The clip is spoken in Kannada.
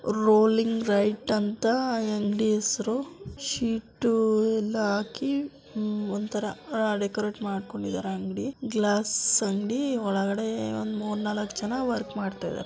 ರೂಲಿಂಗ ರೈಟ್ ಅಂತ ಅ ಅಂಗಡಿ ಹೆಸರು ಶೀಟ್ ಎಲ್ಲಾ ಹಾಕಿ ಒಂತರ ಡೆಕೋರ್ಟ್ ಮಾಡಿಕೊಂಡಿದ್ದಾರೆ ಅಂಗಡಿ ಗ್ಲಾಸ್ ಅಂಗಡಿ ಒಳಗಡೆ ಒಂದು ಮೂರು ನಾಲಕ್ಕ ಜನ ವರ್ಕ್ ಮಾಡ್ತಾ ಇದ್ದಾರೆ.